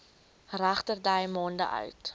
regterdy maande oud